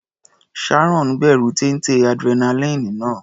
Sharon bẹ̀rù téńté adrenaline náà.